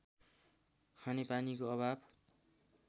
खानेपानीको अभाव